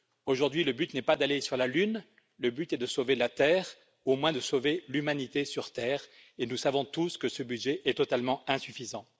Aujourd'hui, le but n'est pas d'aller sur la Lune mais de sauver la Terre, au moins de sauver l'humanité sur Terre, et nous savons tous que ce budget est totalement insuffisant.